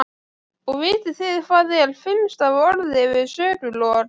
Og vitið þið hvað er fimm stafa orð yfir sögulok?